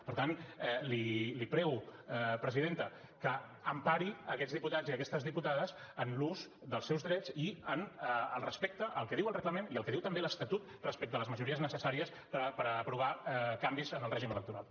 per tant li prego presidenta que empari aquests diputats i aquestes diputades en l’ús dels seus drets i en el respecte al que diu el reglament i al que diu també l’estatut respecte a les majories necessàries per aprovar canvis en el règim electoral